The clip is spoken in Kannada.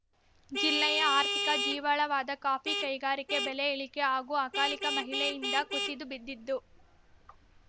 ಜಿಲ್ಲೆಯ ಆರ್ಥಿಕ ಜೀವಾಳವಾದ ಕಾಫಿ ಕೈಗಾರಿಕೆ ಬೆಲೆ ಇಳಿಕೆ ಹಾಗೂ ಅಕಾಲಿಕ ಮಹಿಳೆಯಿಂದ ಕುಸಿದು ಬಿದ್ದಿದ್ದು